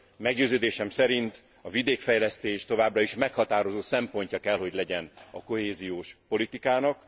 Meggyőződésem szerint a vidékfejlesztés továbbra is meghatározó szempontja kell, hogy legyen a kohéziós politikának.